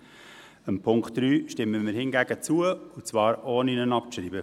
Dem Punkt 3 stimmen wir hingegen zu, und zwar ohne ihn abzuschreiben.